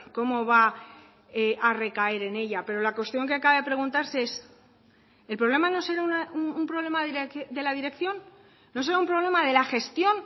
cómo va a recaer en ella pero la cuestión que acaba de preguntarse es el problema no será un problema de la dirección no será un problema de la gestión